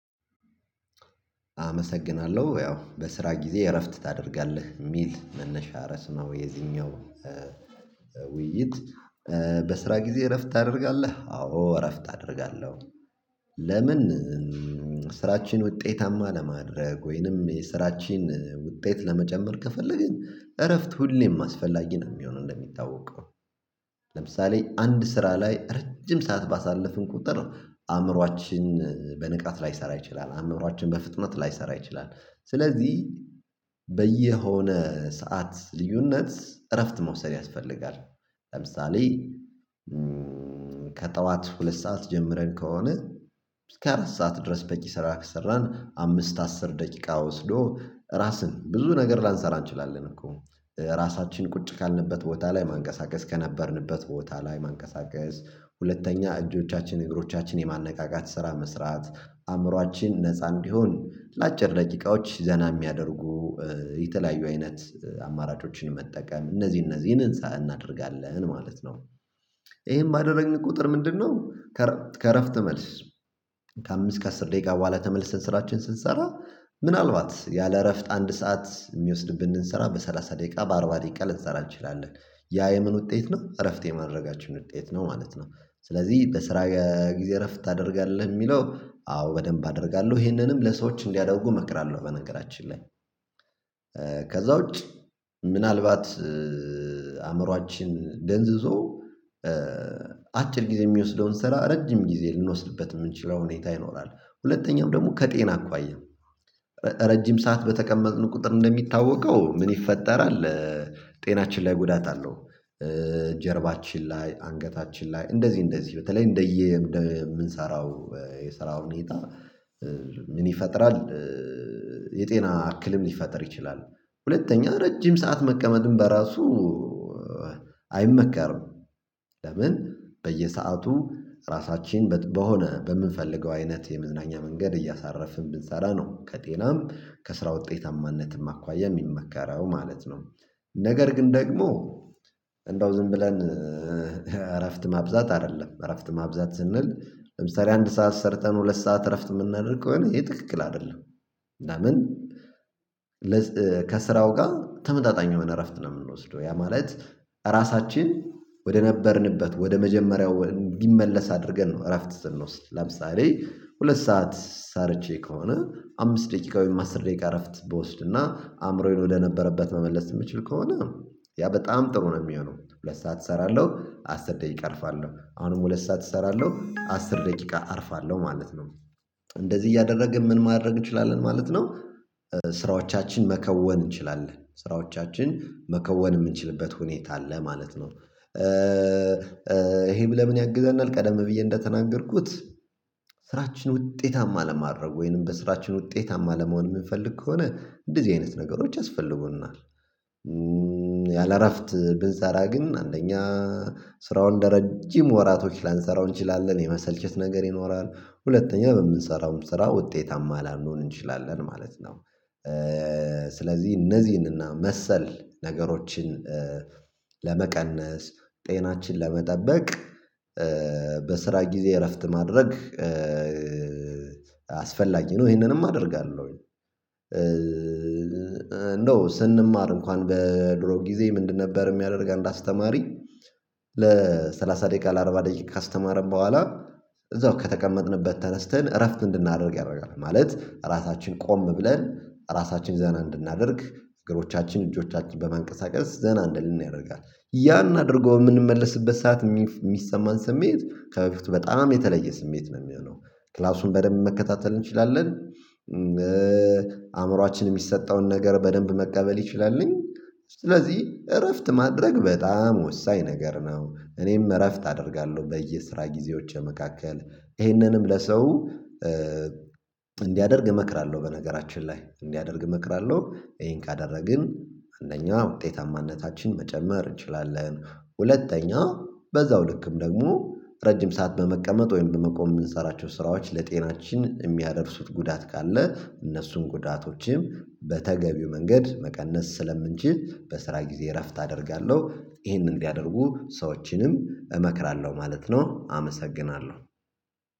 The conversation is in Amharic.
አመሰግናለሁ ያው በስራ ጊዜ እረፍት ታደርጋለህ? የሚል መነሻ ሪዕስ ነው የዚኛው ውይይት በስራ ጊዜ እረፍት ታደርጋለህ? አዎ እረፍት አደርጋለሁ፤ ለምን ስራችን ውጤታማ ለማድረግ ወይንም የስራችን ውጤት ለመጨመር ከፈለግን፤ እረፍት ሁሌም አስፈላጊ ነው የሚሆነው እንደሚታወቀው። ለምሳሌ አንድ ስራ ላይ ረጅም ሰዓት ባሳለፍን ቁጥር አእምሮአችን በንቃት ላይሰራ ይችላል፤ አእምሮአችን በፍጥነት ላይሰራ ይችላል፤ ስለዚህ በየሆነ ሰዓት ልዩነት እረፍት መውሰድ ያስፈልጋል። ለምሳሌ ከጠዋት ሁለት ሰዓት ጀምረን ከሆነ እስከ አራት ሰዓት ድረስ በቂ ስራ ከሰራን፤ አምስት አስር ደቂቃ ወስዶ ራስን ብዙ ነገር ላንሰራ እንችላለን። እኮ ራሳችን ቁጭ ካልንበት ቦታ ላይ ማንቀሳቀስ፤ ከነበርንበት ቦታ ላይ ማንቀሳቀስ፤ ሁለተኛ እጆቻችን፤ እግሮቻችን፤ የማነቃቃት ስራ መስራት፤ አእምሮአችን ነፃ እንዲሆን ለአጭር ደቂቃዎች ዘና የሚያደርጉ የተለያዩ አይነት አማራጮችን መጠቀም፤ እነዚህ እነዚህን እንሰራን እናደርጋለን ማለት ነው። ይሄም ባደረግን ቁጥር ምንድነው ከእረፍት መልስ፤ ከአምስት ከአስር ደቂቃ በኋላ ተመልሰን ስራችን ስንሰራ፤ ምናልባት ያለ እረፍት አንድ ሰዓት የሚወስድብን እንሰራ በሰላሳ ደቂቃ በአርባ ደቂቃ ልትሰራ እንችላለን፤ ያ የምን ውጤት ነው እረፍት የማድረጋችሁን ውጤት ነው ማለት ነው። ስለዚህ ለስራ ጊዜ እረፍት ታደርጋለህ የሚለው አዎ በደንብ አደርጋለሁ፤ ይሄንንም ለሰዎች እንዲያደርጉ እመክራለሁ በነገራችን ላይ። ከዛ ውጪ ምናልባት አእምሮአችን ደንዝዞ አጭር ጊዜ የሚወስደውን ስራ ረጅም ጊዜ ልንወስድበት የምንችለው ሁኔታ ይኖራል። ሁለተኛውም ደግሞ ከጤና አኳያ፤ ረጅም ሰዓት በተቀመጥን ቁጥር እንደሚታወቀው ምን ይፈጠራል? ጤናችን ላይ ጉዳት አለው። ጀርባችን ላይ፤ አንገታችን ላይ፤ እንደዚህ እንደዚህ በተለይ እንደየ እንደምንሰራው የሰራው ሁኔታ፤ ምን ይፈጥራል የጤና አክልም ሊፈጥር ይችላል። ሁለተኛ ረጅም ሰዓት መቀመጥም በራሱ አይመከርም፤ ለምን በየሰአቱ ራሳችን በሆነ በምንፈልገው አይነት የምዝናኛ መንገድ እያሳረፍን ብንሰራ ነው ከጤናም ከስራ ውጤታማነትም አኳያ የሚመከረው ማለት ነው። ነገር ግን ደግሞ እንደው ዝም ብለን እረፍት ማብዛት አይደለም፤ እረፍት ማብዛት ስንል ለምሳሌ አንድ ሰዓት ሰርተን ሁለት ሰዓት እረፍት የምናደርግ ከሆነ ይሄ ትክክል አይደለም። ለምን ከስራው ጋር ተመጣጣኝ የሆነ እረፍት ነው የምንወስደው። ያ ማለት ራሳችን ወደ ነበርንበት ወደ መጀመሪያው እንዲመለስ አድርገን ነው እረፍት ስንወስድ። ለምሳሌ ሁለት ሰዓት ሰርቼ ከሆነ፤ አምስት ደቂቃ ወይም አስር ደቂቃ አረፍት ብወስድና አእምሮዬን ወደነበረበት መመለስ ስምችል ከሆነ፤ ያ በጣም ጥሩ ነው የሚሆነው፤ ሁለት ሰዓት እሰራለሁ አስር ደቂቃ እርፋለሁ፤ አሁንም ሁለት ሰዓት እሰራለሁ አስር ደቂቃ አርፋለሁ ማለት ነው። እንደዚህ እያደረግን ምን ማድረግ እንችላለን ማለት ነው ስራዎቻችን መከወን እንችላለን፤ ስራዎቻችን መከወን የምንችልበት ሁኔታ አለ ማለት ነው። ይሄም ለምን ያግዘናል ቀደም ብዬ እንደተናገርኩት፤ ውጤታማ ለማድረግ ወይንም በስራችን ውጤታማ ለመሆን የምንፈልግ ከሆነ እንደዚህ አይነት ነገሮች ያስፈልጉናል። ያላእረፍት ብንሰራ ግን አንደኛ ስራውን ለረጅም ወራቶች ላንሰራው እንችላለን፤ የመሰልቸት ነገር ይኖራል፤ ሁለተኛ ለምንሰራውም ስራ ውጤታማ ላንሆን እንችላለን ማለት ነው። ስለዚህ እነዚህን እና መሰል ነገሮችን ለመቀነስ፤ ጤናችን ለመጠበቅ፤ በስራ ጊዜ እረፍት ማድረግ፤ አስፈላጊ ነው ይሄንንም አደርጋለሁኝ፤ እንደው ስንማር እንኳን በድሮ ጊዜ ምንድነበር የሚያደርግ አንድ አስተማሪ፤ ለሠላሳ ደቂቃ ለአርባ ደቂቃ ካስተማረን በኋላ፤ እዛው ከተቀመጥንበት ተነስተን እረፍት እንድናደርግ ያደርጋል፤ ማለት ራሳችን ቆም ብለን ራሳችን ዘና እንድናደርግ፤ እግሮቻችን፤ እጆቻችን በመንቀሳቀስ ዘና እንድንል ያደርጋል። ያን አድርገው የምንመለስበት ሰዓት የሚሰማን ስሜት ከበፊቱ በጣም የተለየ ስሜት ነው የሚሆነው። ክላሱን በደንብ መከታተል እንችላለን፤ አእምሮአችን የሚሰጠውን ነገር በደንብ መቀበል ይችላልን፤ ስለዚህ እረፍት ማድረግ በጣም ወሳኝ ነገር ነው፤ እኔም እረፍት አደርጋለሁ በየስራ ጊዜዎች መካከል፤ ይህንንም ለሰው እንዲያደርግ እመክራለሁ በነገራችን ላይ፤ እንዲያደርግ እመክራለሁ። ይሄን ካደረግን አንደኛው ውጤታማነታችን መጨመር እንችላለን፤ ሁለተኛ በዛው ልክም ደግሞ ረጅም ሰዓት በመቀመጥ ወይም በመቆም የምንሰራቸው ስራዎች ለጤናችን የሚያደርሱት ጉዳት ካለ፤ እነሱን ጉዳቶችም በተገቢው መንገድ መቀነስ ስለምንችል በስራ ጊዜ እረፍት አደርጋለሁ። ይሄንን እንዲያደርጉ ሰዎችንም እመክራለሁ ማለት ነው አመሰግናለሁ።